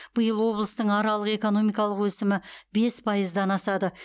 биыл облыстың аралық экономикалық өсімі бес пайыздан асады